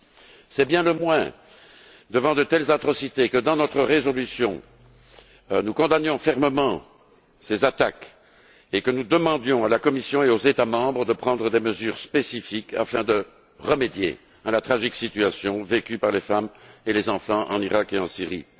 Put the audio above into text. Devant de telles atrocités, c'est bien le moins que, dans notre résolution, nous condamnions fermement ces attaques et que nous demandions à la Commission et aux États membres de prendre des mesures spécifiques afin de remédier à la tragique situation vécue par les femmes et les enfants en Iraq et en Syrie.